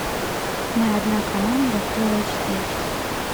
мы одна команда фулл эйч ди